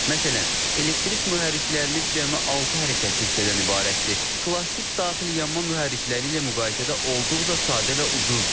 Məsələn, elektrik mühərriklərimiz cəmi altı hərəkətli hissədən ibarətdir, plastik daxili yanma mühərrikləri ilə müqayisədə olduqca sadə və ucuzdur.